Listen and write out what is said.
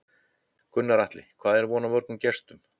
Gunnar Atli, hvað er von á mörgum gestum?